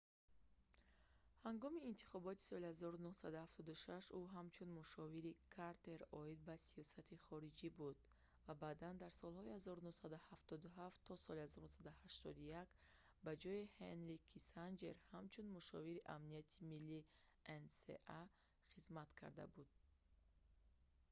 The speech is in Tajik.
ҳангоми интихоботи соли 1976 ӯ ҳамчун мушовири картер оид ба сиёсати хориҷӣ буд ва баъдан дар солҳои аз 1977 то 1981 ба ҷойи ҳенри киссинҷер ҳамчун мушовири амнияти миллӣ nsa хизмат карда буд